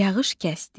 Yağış kəsdi.